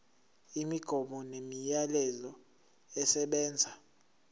imigomo nemiyalelo esebenza